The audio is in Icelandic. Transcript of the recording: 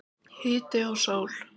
Hiti og sól.